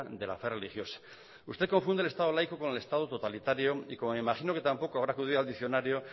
de la fe religiosa usted confunde el estado laico con el estado totalitario y como me imagina que tampoco habrá acudido al diccionario